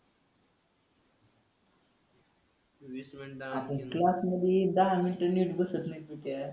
आपण क्लास मधी दहा मिनिटं नीट बसत नाही तू ते